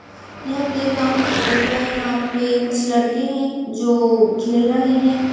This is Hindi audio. यह प्ले ग्राउंड की फोटो है। यहाँ पे कुछ लड़के हैं जो खेल रहें हैं।